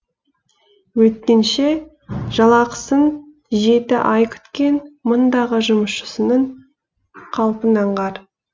өйткенше жалақысын жеті ай күткен мындағы жұмысшысының қалпын аңғар